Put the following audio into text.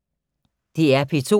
DR P2